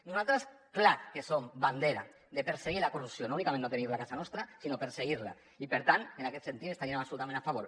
nosaltres és clar que som bandera de perseguir la corrupció no únicament no tenir la a casa nostra sinó perseguir la i per tant en aquest sentit hi estaríem absolutament a favor